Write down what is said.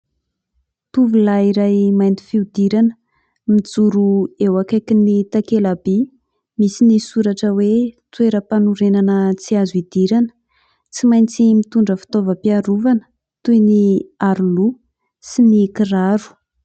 Tovolahy iray mainty fihodirana mijoro eo akaikin'ny takelamby misy ny soratra hoe "Toeram-panorenana tsy azo idirana" ; tsy maintsy mitondra fitaovam-piarovana toy ny aro loha sy ny kiraro.